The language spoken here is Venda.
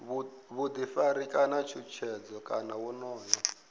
vhuḓifari kana tshutshedzo kana wonoyo